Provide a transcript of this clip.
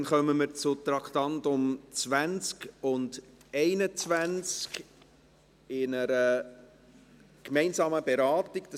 Dann kommen wir zu den Traktanden 20 und 21, welche wir in einer gemeinsamen Beratung behandeln.